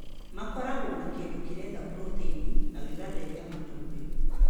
Makoragwo na kĩndũ kĩretha proteini na gĩgatheria matumbi.